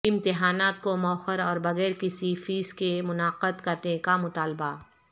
امتحانات کو موخر اور بغیر کسی فیس کے منعقد کرنے کا مطالبہ